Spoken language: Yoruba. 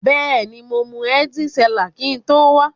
Beeni, mo mu Heitz Cellar kin to wa.